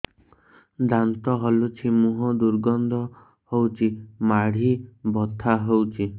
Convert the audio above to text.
ଦାନ୍ତ ହଲୁଛି ମୁହଁ ଦୁର୍ଗନ୍ଧ ହଉଚି ମାଢି ବଥା ହଉଚି